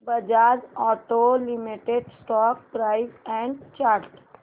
Bajaj auto limited stock price and chart